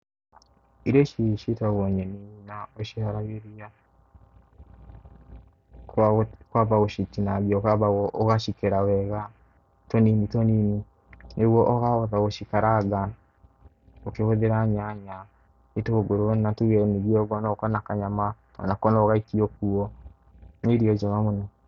Irio ici ciĩtagwo nyeni na tũciharagĩria kwamba gũcitinangia, ũkamba ugacikera wega tũnini tũnini nĩguo ũkahota gũcikaranga, ũkĩhũthĩra nyanya, itũngũru na tuge ningĩ no ũkorwo na kanyama onako no ũgaikie kuo, nĩ irio njega mũno.